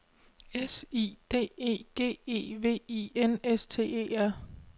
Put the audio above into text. S I D E G E V I N S T E R